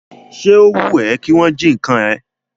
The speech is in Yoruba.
Ṣé o wùn ẹ́ kí wọn jí ǹkan rẹ?